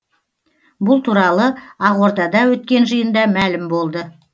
бұл туралы ақордада өткен жиында мәлім болды